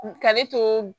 Ka ne to